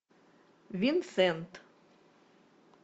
винсент